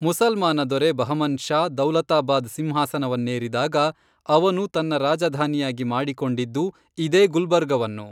ಮುಸಲ್ಮಾನ ದೊರೆ ಬಹಮನ್ ಶಾ ದೌಲತಾಬಾದ್ ಸಿಂಹಾಸವನ್ನೇರಿದಾಗ ಅವನು ತನ್ನ ರಾಜಧಾನಿಯಾಗಿ ಮಾಡಿಕೊಂಡಿದ್ಧು ಇದೇ ಗುಲ್ಬರ್ಗವನ್ನು